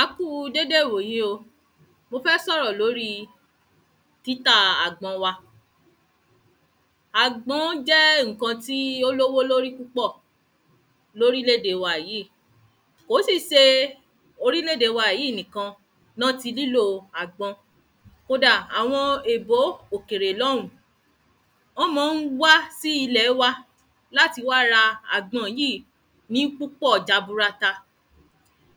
a kú déédé ìwòyí o, mo fẹ́ sọ̀rọ̀ lòri títa àgbọn wa àgbọn jẹ́ ǹkan tí ó ní owó lórí púpọ̀ lórílẹ̀-ède wa yìí, kò sì ṣe orílẹ̀-ède wa yìí nìkan ni wọ́n ti nílo àgbọn kódà àwọn èbó òkèrè lọ́hùn ún wọ́n ma ń wá sí ilẹ̀ wa láti wá ra àgbọn yìí ní púpọ̀ jaburata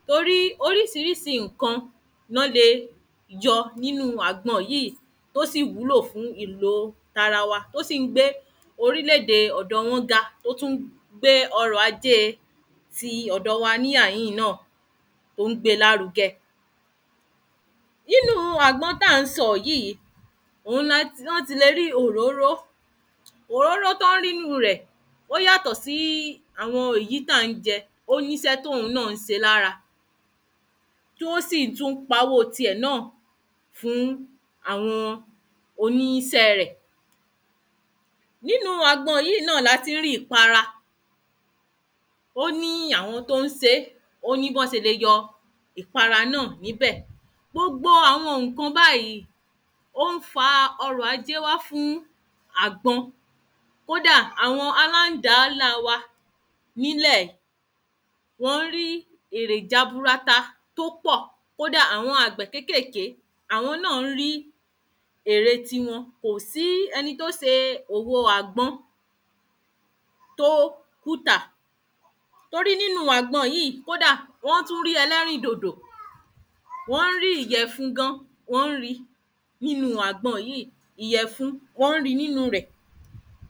torí oríṣiríṣi ǹkan ni wọ́n lè yọ nínu àgbọn yìí tó sì wúlò fún ìlo tara wa tó sì gbé orílẹ̀-ède ti ọ̀dọ wọn ga, ó tún ń gbe ọrọ̀ ajé tiwa ní àhìn náà, to ń gbé lárugẹ nínu àgbọn tí a sọ yìí, òun ni wọ́n tilẹ̀ rí òróró, òróró tí wọ́n rí nínu rẹ̀ ó yàtọ̀ sí àwọn èyí tí a jẹ, o níṣẹ́ tí òun náà ń ṣe lára tí wọ́n sì tún pa owó tirẹ̀ náà fún àwọn oníṣẹ́ rẹ̀ nínu agbọn yìí náà ni a ti rí ìpara, ó ní àwọn tí ó ń ṣe é, ó ní bí wọn ṣe lè yọ ìpara náà níbẹ̀ gbogbo àwọn ǹkan báyìí ó fa ọrọ̀ ajé wa fún àgbọn, kódà àwọn aládàá ńlá wa ní ilẹ̀ yìí wọ́n ń rí èrè jaburata tí ó pọ̀, kódà àwọn àgbẹ kékèké, àwọn náà rí èrè ti wọn, kò sí ẹni tí ó ṣe òwò àgbọn tó kùtà, torí nínu àgbọn yìí kódà wọ́n tún rí ẹlẹ́rìndòdò wọ́n rí ìyẹ̀fun gan wọn ń ríi nínu àgbọn yìí, ìyẹ̀fun wọ́n ríi nínu rẹ̀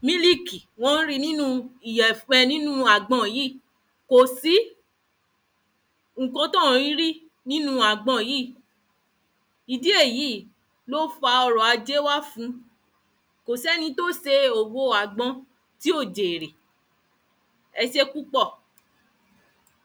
mílììkì wọ́n ń ríi nínu àgbọn yìí kò sí ǹkan tí wọn ò kìí rí nínu àgbọn yìí ìdí èyí ni ó fa ọrọ̀ ajé wa fun. Kò sí ẹni tí ó ṣe òwo àgbọn tí ò jèrè. ẹ sẹ́ púpọ̀